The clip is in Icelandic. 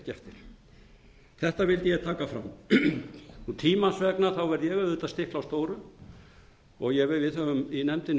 eftir þetta vildi ég taka fram tímans vegna verð ég auðvitað að stikla á stóru við höfum í nefndinni